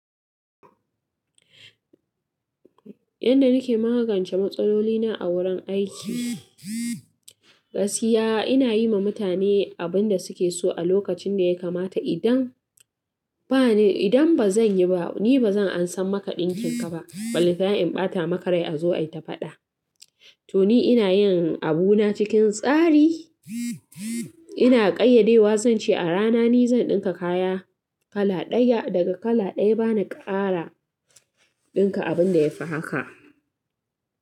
Yanda nake magance matsaloli na a wurin aiki, gaskiya ina yi ma mutane abin da suke so a lokacin da ya kamata. Idan bani, idan ba zan yi ba, ni ba zan ansa maka ɗinkin ka ba. Balan tana in ɓata maka rai a zo ai ta faɗa. To ni ina yin abuna cikin tsari. Ina ƙayyade wa zance a rana ni zan ɗinka kaya kala ɗaya daga kala ɗaya. Bana ƙara ɗinka abin da ya fi haka.